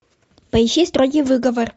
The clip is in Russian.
поищи строгий выговор